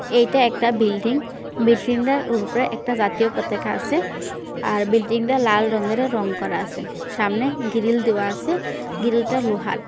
এইটা একটা বিল্ডিং । বিল্ডিংটার ওপরে একটা জাতীয় পতাকা আছে। আর বিল্ডিং -টা লাল রঙের রং করা আছে। সামনে গ্রিল দেওয়া আছে গ্রিলটা লোহার।